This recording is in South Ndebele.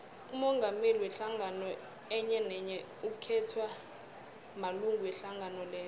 umongameli wehlangano enyenenye ukhethwa malunga wehlangano leyo